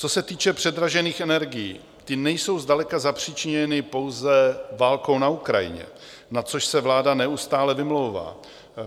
Co se týče předražených energií, ty nejsou zdaleka zapřičiněny pouze válkou na Ukrajině, na což se vláda neustále vymlouvá.